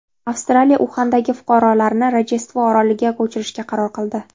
Avstraliya Uxandagi fuqarolarini Rojdestvo oroliga ko‘chirishga qaror qildi.